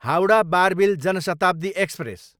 Howrah, Barbil Jan Shatabdi express